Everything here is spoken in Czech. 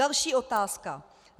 Další otázka.